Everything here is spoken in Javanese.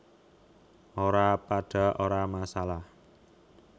Ora padha ora masalah